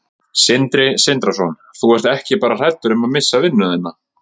Sindri Sindrason: Þú ert ekki bara hræddur um að missa vinnuna þína?